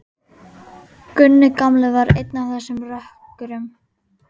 Gunni gamli var einn af þessum rökkurum.